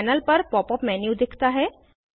panel पर pop up menu दिखता है